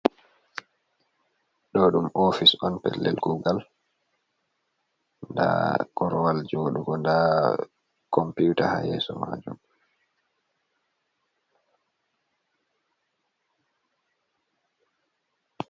Ɗo ɗum oofis on pellel kuugal, nda korwal jooɗugo, nda compuuta haa yeeso mɗajum.